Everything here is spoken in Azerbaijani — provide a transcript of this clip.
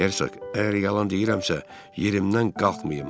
Herk, əgər yalan deyirəmsə, yerimdən qalxmayım.